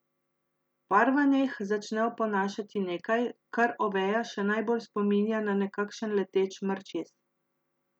Parvaneh začne oponašati nekaj, kar Oveja še najbolj spominja na nekakšen leteč mrčes.